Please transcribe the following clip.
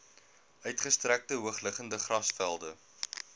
uitgestrekte hoogliggende grasvelde